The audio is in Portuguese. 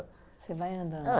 Você vai andando.